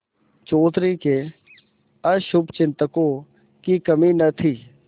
चौधरी के अशुभचिंतकों की कमी न थी